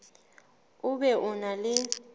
o be o na le